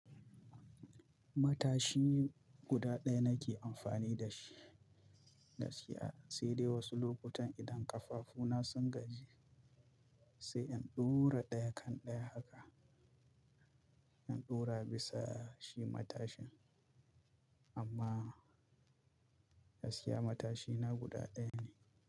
Matashi guda ɗaya nake amfani da shi gaskiya sai dai wasu lokutan idan ƙafafu na sun gaji sai in ɗura ɗaya kan ɗaya haka. In ɗura bisa shi matashin amma gaskiya matashina guda ɗaya ne.